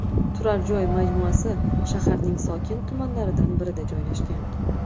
Turar joy majmuasi shaharning sokin tumanlaridan birida joylashgan.